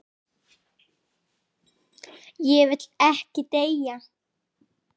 Ég vil ekki deyja.